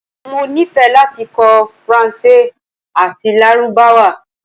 Mo nifẹ lati kọ Faranse ati Larubawa